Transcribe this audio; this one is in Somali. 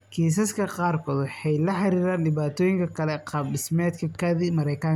Kiisaska qaarkood waxay la xiriiraan dhibaatooyinka kale ee qaab dhismeedka kaadi mareenka.